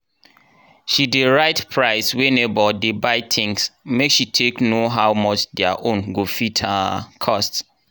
she dey write price wey neighbour dey buy things make she take know how much diir own go fit um cost.